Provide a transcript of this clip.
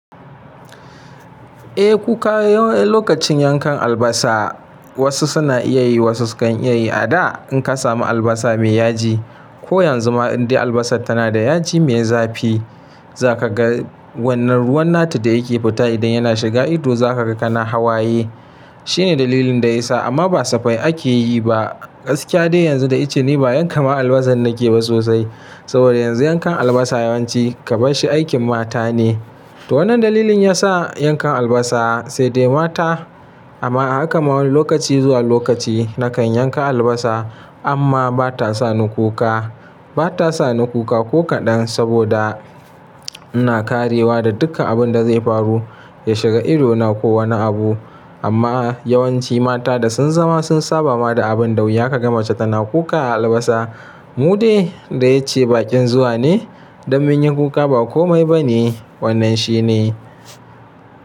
Eh kuka lokacin yankan albasa wasu suna iya yi wasu sukan iya yi a da in ka samu albasa mai yaji. Ko yanzu ma in dai albasa tana da yaji mai zafi za ka ga wannan ruwan nata da yake fita idan yana shiga ido za ka ga kana hawaye. Shine dalilin da ya sa amma ba safai ake yi ba. Gaskiya dai yanzu da icce ni ba yanka ma albasa na ke ba sosai. Saboda yanzu yankan albasa yawanci kaban shi aikin mata ne. To wannan dalilin ya sa yankan albasa sai dai mata amma haka ma wani lokaci zuwa lokaci na kan yanka albasa amma ba ta sa ni kuka. Ba ta sa ni kuka ko kaɗan saboda ina karewa da duka abun da zai faru ya shiga idona ko wani abu. Amma yawanci mata da sun zama sun saba ma da abun da wuya ka ga mace tana kuka a albasa. Mu dai da yace baƙin zuwa ne don mu yi kuka ba komai ba ne wannan shine.